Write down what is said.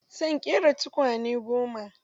Zan ƙera tukwane goma.